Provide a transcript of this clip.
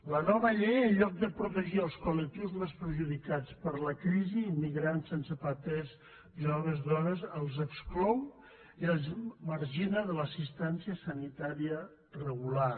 la nova llei en lloc de protegir els col·lectius més perjudicats per la crisi immigrants sense papers joves dones els exclou i els margina de l’assistència sanitària regular